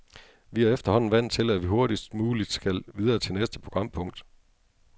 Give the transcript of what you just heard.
Vi er efterhånden vant til, at vi hurtigst muligt skal videre til næste programpunkt.